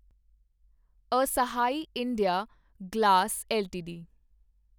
ਅਸਾਹੀ India Glass LTD